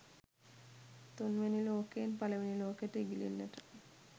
තුන්වැනි ලෝකයෙන් පළවෙනි ලෝකෙට ඉගිලෙන්නට